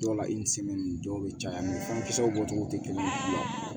Dɔw la dɔw bɛ caya fankisɛw bɔcogo tɛ kelen ye